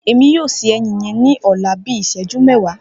Emi yoo se ẹyin yẹn ni ọla fun bii iṣẹju mẹwa.